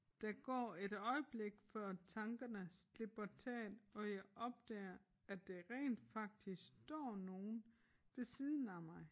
Der går et øjeblik før tankerne slipper taget og jeg opdager at der rent faktisk står nogen ved siden af mig